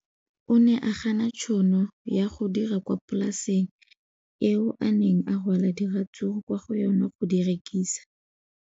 O ne a gana tšhono ya go dira kwa polaseng eo a neng rwala diratsuru kwa go yona go di rekisa.